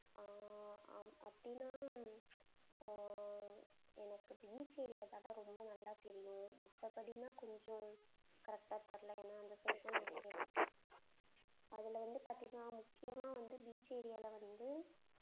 ஆஹ் அ~அப்படின்னா ஆஹ் எனக்கு beach area தான்டா ரொம்ப நல்லா தெரியும் மத்தபடின்னா கொஞ்சம் correct ஆ தெரியலே ஏன்னா அதுல வந்து பாத்தீங்கன்னா முக்கியமா வந்து beach area ல வந்து,